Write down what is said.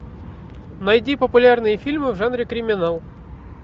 найди популярные фильмы в жанре криминал